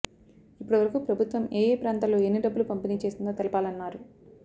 ఇప్పటి వరకు ప్రభుత్వం ఏఏ ప్రాంతాల్లో ఎన్ని డబ్బులు పంపిణీ చేసిందో తెలపాలన్నారు